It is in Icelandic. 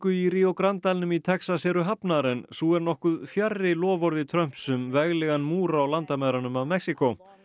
í Rio Grande dalnum í Texas eru hafnar en sú er nokkuð fjarri loforði Trumps um veglegan múr á landamærunum að Mexíkó